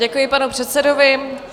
Děkuji panu předsedovi.